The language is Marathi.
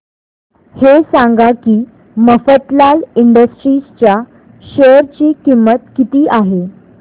हे सांगा की मफतलाल इंडस्ट्रीज च्या शेअर ची किंमत किती आहे